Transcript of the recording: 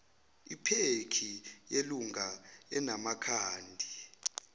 iphekhi yelunga enamakhadi